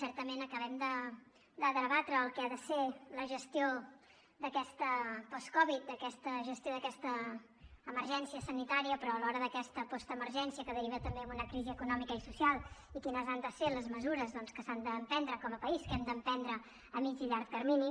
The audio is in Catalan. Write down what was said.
certament acabem de debatre el que ha de ser la gestió d’aquesta post covid la gestió d’aquesta emergència sanitària però alhora d’aquesta postemergència que deriva també en una crisi econòmica i social i quines han de ser les mesures doncs que s’han de prendre com a país que hem de prendre a mitjà i llarg termini